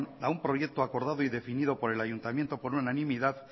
a un proyecto acordado y definido por el ayuntamiento por unanimidad